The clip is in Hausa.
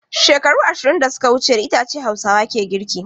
Shekaru ashirin da suka wuce da icce Hausawa ke girki.